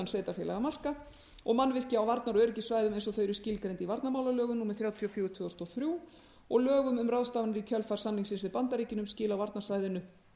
sveitarfélagamarka og mannvirki á varnar og öryggissvæðum eins og þau eru skilgreind í varnarmálalögum númer þrjátíu og fjögur tvö þúsund og þrjú og lögum um ráðstafanir í kjölfar samningsins við bandaríkin um skil á varnarsvæðinu